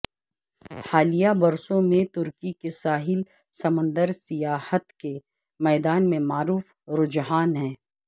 حالیہ برسوں میں ترکی کے ساحل سمندر سیاحت کے میدان میں معروف رجحان ہے